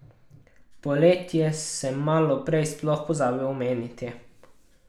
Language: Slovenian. Poletje sem malo prej sploh pozabil omeniti.